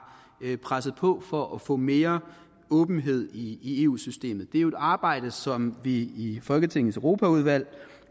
presset på for at få mere åbenhed i eu systemet det er jo et arbejde som vi i folketingets europaudvalg